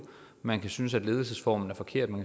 man kan synes at ledelsesformen er forkert og